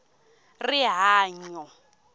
rihanyo